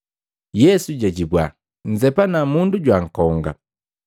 Yesu jajibua, “Nnzepana mundu jwankonga.